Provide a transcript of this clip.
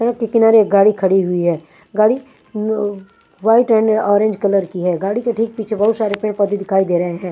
अक के किनारे गाड़ी खड़ी हुई है गाड़ी उम व व वाइट एंड ऑरेंज कलर की है गाड़ी के ठीक पीछे बहोत सारे पेड़ पौधे दिखाई दे रहे हैं।